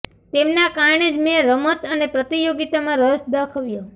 તેમના કારણે જ મેં રમત અને પ્રતિયોગિતામાં રસ દાખવ્યો